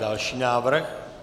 Další návrh.